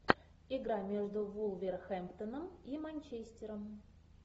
игра между вулверхэмптоном и манчестером